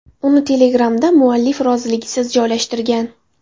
Uni Telegram’da muallif roziligisiz joylashtirgan.